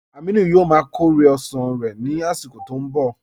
Amìnù yóò má kọ̀rẹ̀ osán rẹ̀ nì àsìkò tó n bọ